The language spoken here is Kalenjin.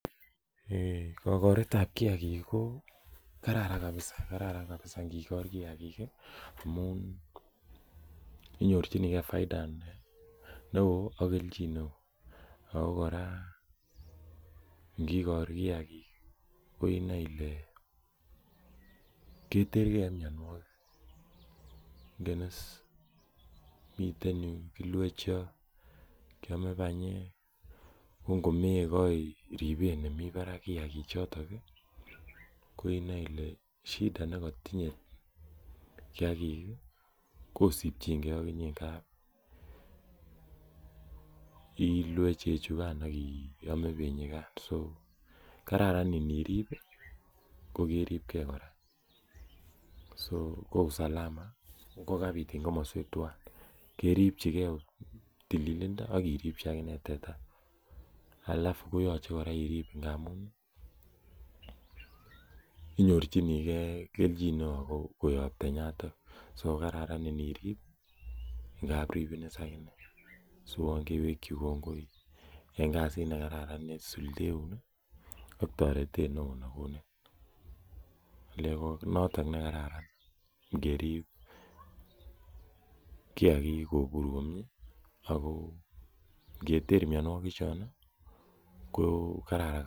Eei kokoret ab kiagik ko kararan kabisa kararan kabisa ngikor kiagik amun inyorchigee faida neoo ak kelchin neoo ako kora ngikor kiagik inoe ile ketergee en mionwogik ingen is miten yuu kilue chego kiome banyek ko ngomekoi ribet nemii barak kiagik choton ih koinoi ile shida nekotinye kiagik ih kosipchingee okinyee ngapi ilue chechukan ak iame benyikan so kararan nirib ko keribgee kora so ko usalama kokabit en komoswek twan keripchigee tililindo ak iripchi akinee teta alafu koyoche kora irib amun inyorchigee kelchin neoo koyob tenyaton so kokararan inirib ngap ribin akinee siuon kewekyi kongoi en kasit nekararan nesuldeun ih ak toretet neoo nekonin le konoton nekararan ngerip kiagik kobur komie ako ngeter mionwogik chon ih ko kararan kabisa